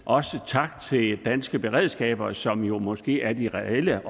også tak til danske beredskaber som jo måske er de reelle